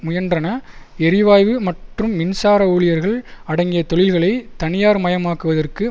முயன்றன எரிவாயு மற்றும் மின்சார ஊழியர்கள் அடங்கிய தொழில்களை தனியார்மயமாக்குவதற்கு